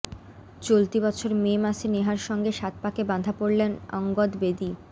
চলতি বছর মে মাসে নেহার সঙ্গে সাতপাকে বাঁধা পড়েন অঙ্গদ বেদি